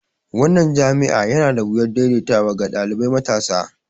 Wannan jami'a yana da wuyar daidaitawa ga ɗalibai matasa.